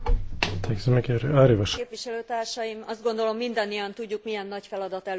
Tisztelt Képviselőtársaim! Azt gondolom, mindannyian tudjuk, milyen nagy feladat előtt állunk.